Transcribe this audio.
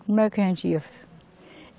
Como é que a gente ia?